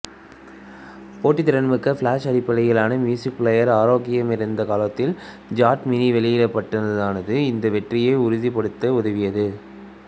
போட்டித்திறன்மிக்க ஃபிளாஷ்அடிப்படையிலான மியூசிக் பிளேயர்கள் ஆக்கிரமித்திருந்த காலத்தில் ஐபாட் மினி வெளியிடப்பட்டதானது இந்த வெற்றியை உறுதிப்படுத்த உதவியது